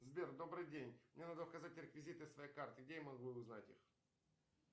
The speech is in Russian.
сбер добрый день мне надо указать реквизиты своей карты где я могу узнать их